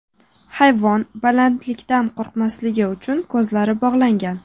Hayvon balandlikdan qo‘rqmasligi uchun, ko‘zlari bog‘langan.